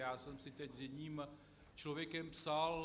Já jsem si teď s jedním člověkem psal.